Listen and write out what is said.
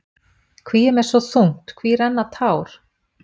Hví er mér svo þungt, hví renna tár?